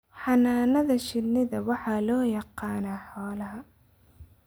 Xannaanada shinnida waxaa loo yaqaanaa xoolaha